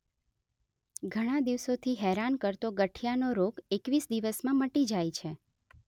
ઘણા દિવસોથી હેરાન કરતો ગઠિયાનો રોગ એકવીસ દિવસમાં મટી જાય છે